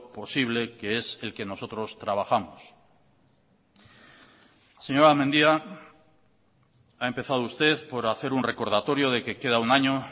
posible que es el que nosotros trabajamos señora mendia ha empezado usted por hacer un recordatorio de que queda un año